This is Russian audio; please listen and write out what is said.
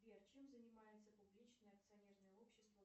сбер чем занимается публичное акционерное общество